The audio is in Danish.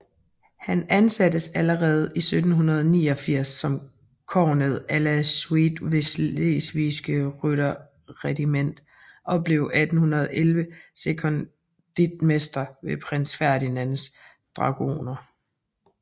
Han ansattes allerede 1789 som kornet à la suite ved Slesvigske Rytterregiment og blev 1811 sekondritmester ved Prins Ferdinands Dragoner